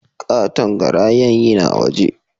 Katon garayan yina waje